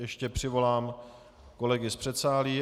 Ještě přivolám kolegy z předsálí.